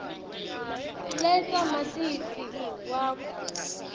letsa matisi wakho